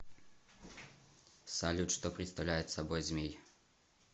салют что представляет собой змей